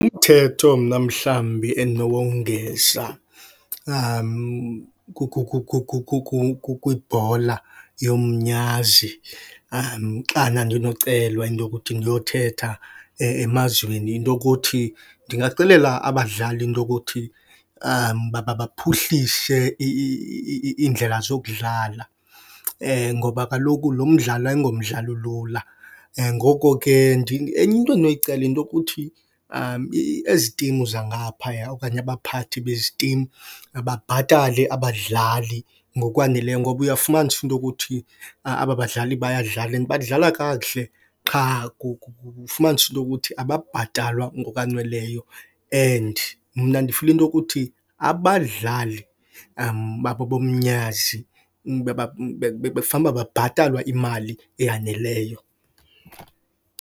Umthetho mna mhlawumbi endinowongeza kwibhola yomnyazi xana ndinocelwa into yokuthi ndiyothetha emazweni into yokuthi, ndingaxelela abadlali into yokuthi baphuhlise iindlela zokudlala, ngoba kaloku lo mdlalo ayingomdlalo ulula. Ngoko ke enye into endinoyicela yinto kuthi ezi team zangaphaya okanye abaphathi bezi team mabhatale abadlali ngokwaneleyo, ngoba uya kufumanisa into yokuthi aba badlali bayadlala, and badlala kakuhle qha kufumanisa into yokuthi abhatalwa ngokwaneleyo and mna ndifila into yokuthi abadlali babo bomnyazi bebefana uba babhatalwa imali eyaneleyo.